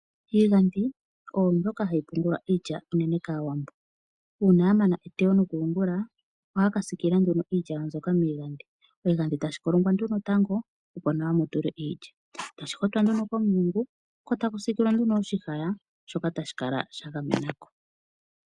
Iigandhi oyo mbyoka hayi longithwa okupungula iilya unene kAawambo. Uuna ya mana okuteya nokuyungula ohaa ka siikilila nduno iilya yawo miigandhi. Oshigandhi tashi kolongwa tango, opo nawa mu tulwe iilya, sho tashi hotwa nduno komulungo, opo nawa ku tulwe okahaka hoka haka kala ka gamena ko.